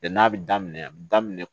Bɛn n'a bɛ daminɛ a bɛ daminɛ